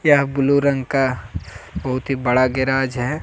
यह ब्लू रंग का बहुत ही बड़ा गेराज है।